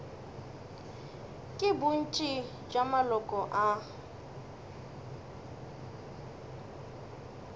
ke bontši bja maloko a